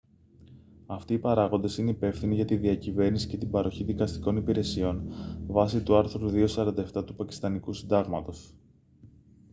αυτοί οι παράγοντες είναι υπεύθυνοι για τη διακυβέρνηση και την παροχή δικαστικών υπηρεσιών βάσει του άρθρου 247 του πακιστανικού συντάγματος